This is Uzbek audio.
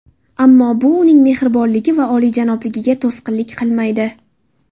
Ammo bu uning mehribonligi va oliyjanobligiga to‘sqinlik qilmaydi.